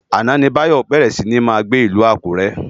Áná ni Bayo bèrè si ni má gbé Ilù Akure